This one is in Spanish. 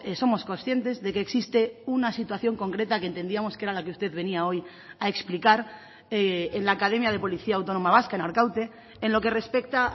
somos conscientes de que existe una situación concreta que entendíamos que era la que usted venía hoy a explicar en la academia de policía autónoma vasca en arkaute en lo que respecta